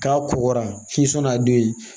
K'a kokora k'i sɔnn'a don ye